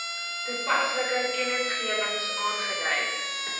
toepaslike kennisgewings aangedui